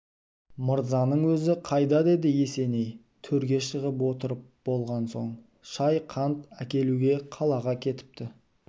мырзаның өзі қайда деді есеней төрге шығып отырып болған соң шай-қант әкелуге қалаға кетіпті